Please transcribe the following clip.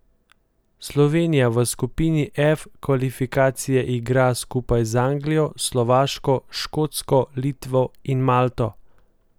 Slovenija v skupini F kvalifikacije igra skupaj z Anglijo, Slovaško, Škotsko, Litvo in Malto.